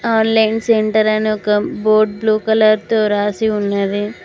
Online centre అని board blue colour తో రాసి ఉన్నది.